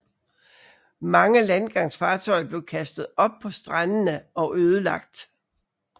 Mange landgangsfartøjer blev kastet op på strandene og ødelagt